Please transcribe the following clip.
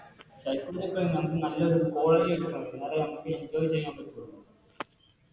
Psychology എടുത്താൽ നമുക്ക് നല്ലൊരു College life കിട്ടണം അതാ നമുക്ക് Enjoy ചെയ്യാൻ പറ്റുള്ളൂ